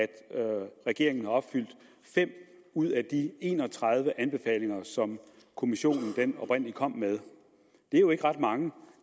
regeringen har opfyldt fem ud af de en og tredive anbefalinger som kommissionen oprindelig kom med det er jo ikke ret mange